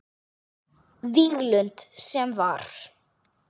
Víglund sem var.